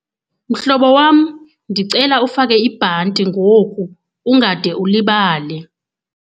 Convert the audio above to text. Mhlobo wam ndicela ufake ibhanti ngoku ungade ulibale.